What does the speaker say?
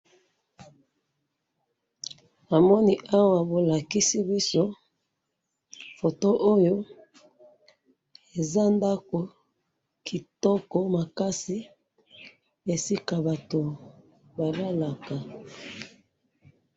Namoni awa bolakisi biso photo oyo eza ndako kitoko makasi esika bato balalaka